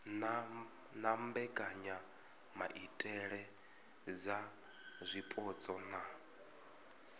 na mbekanyamaitele dza zwipotso na